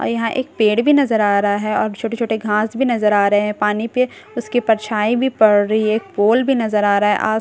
और यहाँ एक पेड़ भी नजर आ रहा है और छोटे छोटे घास भी नजर आ रहे हैं पानी पे उसकी परछाई भी पड़ रही है पोल भी नजर आ रहा है आस पास --